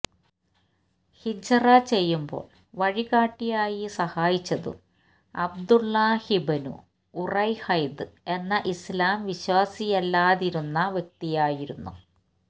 ഹിജ്റ ചെയ്യുമ്പോള് വഴികാട്ടിയായി സഹായിച്ചതും അബ്ദുല്ലാഹി ബ്നു ഉറൈഖത് എന്ന ഇസ്ലാം വിശ്വാസിയല്ലാതിരുന്ന വ്യക്തിയായിരുന്നു